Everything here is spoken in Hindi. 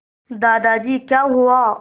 दादाजी क्या हुआ